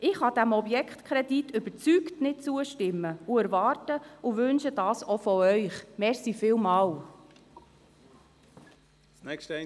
Ich kann diesem Objektkredit überzeugt nicht zustimmen und erwarte und wünsche mir das auch von Ihnen.